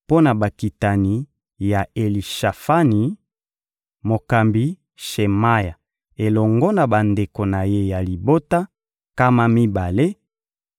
mpo na bakitani ya Elitsafani: mokambi Shemaya elongo na bandeko na ye ya libota, nkama mibale;